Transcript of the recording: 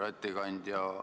Härra ettekandja!